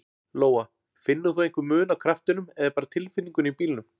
Lóa: Finnur þú einhver mun á kraftinum eða bara tilfinningunni í bílnum?